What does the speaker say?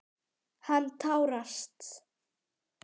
Hann tárast.